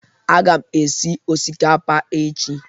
A ga m esi osikapa echi